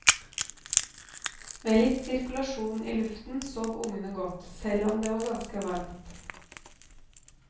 Med litt sirkulasjon i luften sov ungene godt, selv om det var ganske varmt.